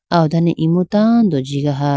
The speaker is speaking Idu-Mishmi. aw dane imu tando jigaha.